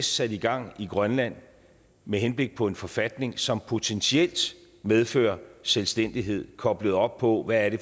sat i gang i grønland med henblik på en forfatning som potentielt medfører selvstændighed koblet op på hvad det